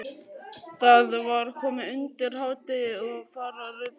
Það var komið undir hádegi og farið að rigna.